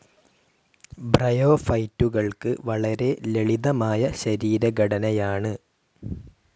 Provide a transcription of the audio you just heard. ബ്രയോഫൈറ്റുകൾക്ക് വളരെ ലളിതമായ ശരീരഘടനയാണ്.